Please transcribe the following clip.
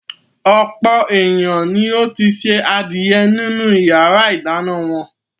Ọ̀pọ̀ ènìyàn ni ó ti se adìẹ nínú ìyàrá-ìdáná wọn.